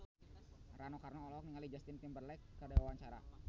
Rano Karno olohok ningali Justin Timberlake keur diwawancara